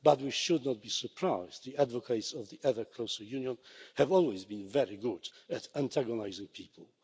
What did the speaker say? But we should not be surprised. The advocates of ever closer union have always been very good at antagonising people.